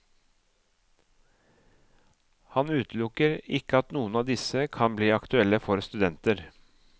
Han utelukker ikke at noen av disse kan bli aktuelle for studenter.